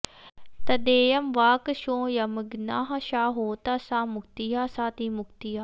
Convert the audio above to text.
तद्येयं वाक् सोऽयमग्निः स होता सा मुक्तिः साऽतिमुक्तिः